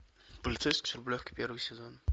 полицейский с рублевки первый сезон